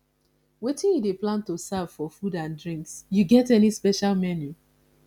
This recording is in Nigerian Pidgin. wetin you dey plan to serve for food and drinks you get any special menu